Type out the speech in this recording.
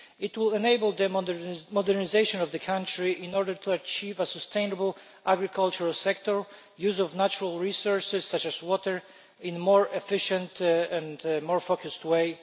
It will enable the modernisation of the country in order to achieve a sustainable agricultural sector and the use of natural resources, such as water, in a more efficient and more focused way.